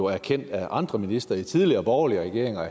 erkendt af andre ministre i tidligere borgerlige regeringer